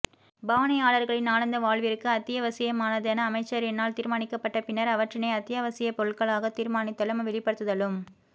பாவனையாளர்களின் நாளாந்த வாழ்விற்கு அத்தியவசியமானதென அமைச்சரினால் தீர்மானிக்கப்பட்ட பின்னர் அவற்றினை அத்தியாவசியப் பொருட்களாக தீர்மானித்லும் வெளிப்படுத்துதலும்